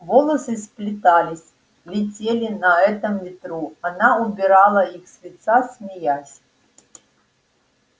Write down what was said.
волосы сплетались летели на этом ветру она убирала их с лица смеясь